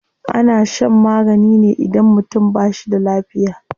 Ana shan magani ne idan mutum ba shi da lafiya.